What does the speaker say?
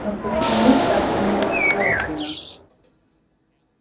но почему так не вовремя